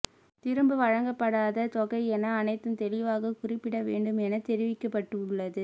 திரும்ப வழங்கப்படாத தொகை என அனைத்தும் தெளிவாக குறிப்பிட வேண்டும் என தெரிவிக்கப்பட்டு உள்ளது